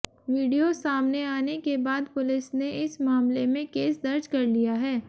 video सामने आने के बाद पुलिस ने इस मामले में केस दर्ज कर लिया है